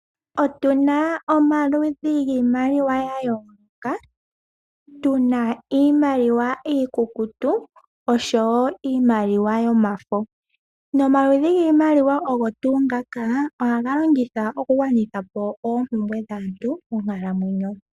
Otu na omaludhi giimaliwa ya yooloka, tu na iimaliwa iikukutu osho wo iimaliwa yomafo. Omaludhi giimaliwa ogo tuu ngaka ohaga longithwa okugwanitha po oompumbwe dhaantu monkalamwenyo.